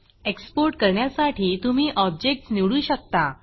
export करण्यासाठी तुम्ही objectsऑब्जेक्ट्स निवडू शकता